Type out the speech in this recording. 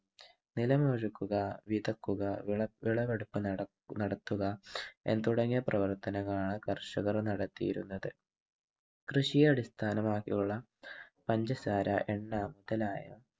നിലം ഉഴുതുക, വിതയ്ക്കുക, വിളവെടുപ്പ് നടത്തുക തുടങ്ങിയ പ്രവർത്തനങ്ങളാണ് കർഷകർ നടത്തിയിരുന്നത്. കൃഷിയെ അടിസ്ഥാനമാക്കിയുള്ള പഞ്ചസാര എണ്ണ മുതലായ